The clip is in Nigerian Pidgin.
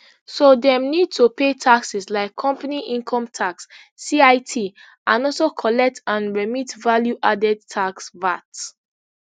so dem need to pay taxes like company income tax cit and also collect and remit value added tax vat